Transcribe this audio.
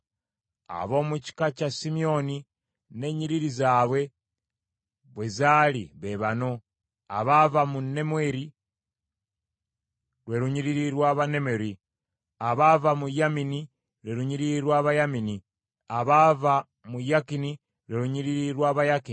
Ab’omu kika kya Simyoni ng’ennyiriri zaabwe bwe zaali be bano: abaava mu Nemweri, lwe lunyiriri lw’Abanemweri; abaava mu Yamini, lwe lunyiriri lw’Abayamini; abaava mu Yakini, lwe lunyiriri lw’Abayakini;